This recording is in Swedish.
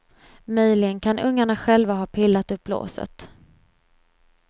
Möjligen kan ungarna själva ha pillat upp låset.